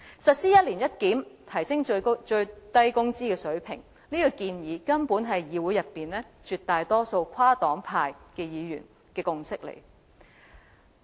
實施一年一檢，提升最低工資水平，這個建議根本是議會內絕大多數跨黨派議員的共識。